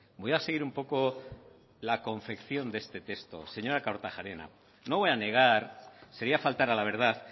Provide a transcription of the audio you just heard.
voy a seguir un poco la confección de este texto señora kortajarena no voy a negar sería faltar a la verdad